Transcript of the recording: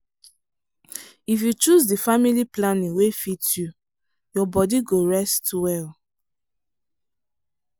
if you choose the family planning wey fit you your body go rest well.